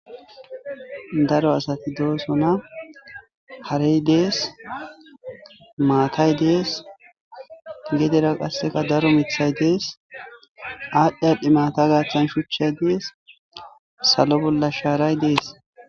daro asati doosona harey dees maatay dees gedera qasseka daro mithay dees aadhdhi adhdhi maata gaathan shuchchay dees salo bolla shaaray dees